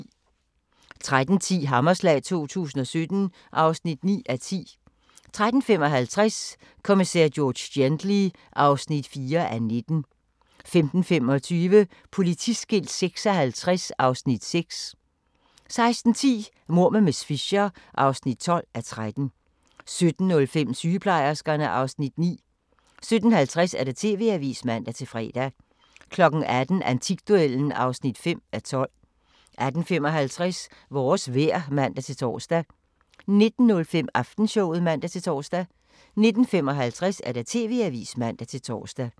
13:10: Hammerslag 2017 (9:10) 13:55: Kommissær George Gently (4:19) 15:25: Politiskilt 56 (Afs. 6) 16:10: Mord med miss Fisher (12:13) 17:05: Sygeplejerskerne (Afs. 9) 17:50: TV-avisen (man-fre) 18:00: Antikduellen (5:12) 18:55: Vores vejr (man-tor) 19:05: Aftenshowet (man-tor) 19:55: TV-avisen (man-tor)